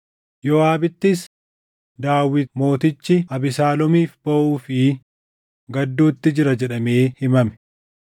Yooʼaabittis, “Daawit mootichi Abesaaloomiif booʼuu fi gadduutti jira” jedhamee himame.